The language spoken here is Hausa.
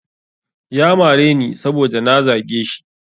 Ya mareni saboda na zage shi.